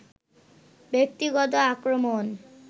ব্যক্তিগত আক্রমণ